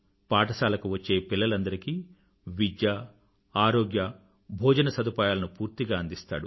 పాఠశాలకు వచ్చే పిల్లలందరికీ విద్య ఆరోగ్య భోజన సదుపాయాలను పూర్తిగా అందిస్తాడు